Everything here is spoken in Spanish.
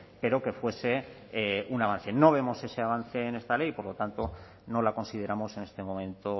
pero que fuese un avance no vemos ese avance en esta ley y por lo tanto no la consideramos en este momento